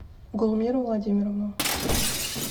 гулмиру владимировну